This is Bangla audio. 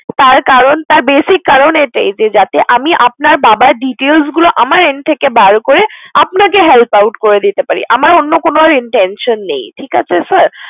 তার কারণ তার basic কারণ এটাই যে, যাতে আমি আপনার বাবার details গুলো আমার end থেকে বার করে আপনাকে help out করে দিতে পারি। আমার অন্য কোনো intention নেই ঠিক আছে sir?